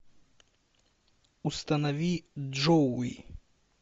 установи джоуи